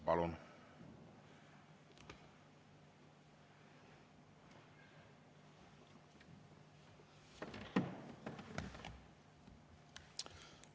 Palun!